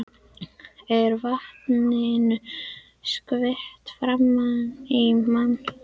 Er vatninu skvett framan í mann. svona.